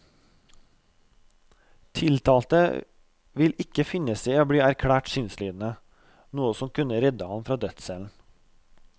Tiltalte vil ikke finne seg i å bli erklært sinnslidende, noe som kunne redde ham fra dødscellen.